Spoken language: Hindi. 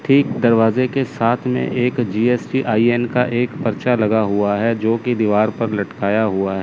ठीक दरवाजे के साथ में एक जी_एस_टी_आई_एन का एक पर्चा लगा हुआ है जोकि दीवार पर लटकाया हुआ--